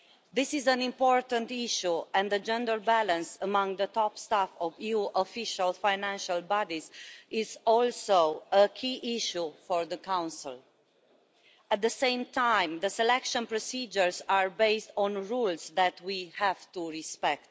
This is an important issue and the gender balance among the top staff of EU official financial bodies is also a key issue for the Council. At the same time, the selection procedures are based on rules that we have to respect.